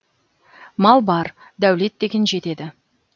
мал бар дәулет деген жетеді